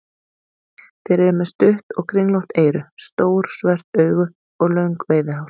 Þeir eru með stutt og kringlótt eyru, stór svört augu og löng veiðihár.